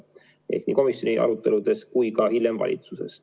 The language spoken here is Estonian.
Toetasin seda nii komisjoni aruteludes kui ka hiljem valitsuses.